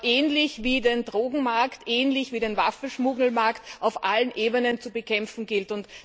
ähnlich wie den Drogenmarkt, ähnlich wie den Waffenschmuggelmarkt auf allen Ebenen zu bekämpfen gilt.